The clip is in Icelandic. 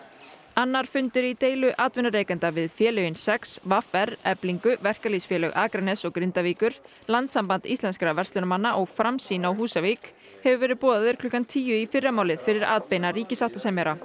annar fundur í deilu atvinnurekenda við félögin sex v r Eflingu verkalýðsfélög Akraness og Grindavíkur Landssamband íslenskra verslunarmanna og Framsýn á Húsavík hefur verið boðaður klukkan tíu í fyrramálið fyrir atbeina ríkissáttasemjara